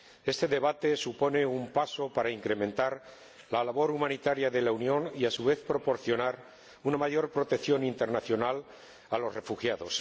Este debate supone un paso adelante para incrementar la labor humanitaria de la Unión y, a su vez, proporcionar una mayor protección internacional a los refugiados.